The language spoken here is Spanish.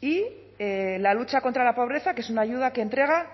y la lucha contra la pobreza que es una ayuda que entrega